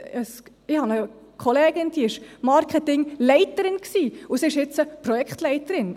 Ich habe eine Kollegin, die war Marketingleiterin und sie ist jetzt Projektleiterin.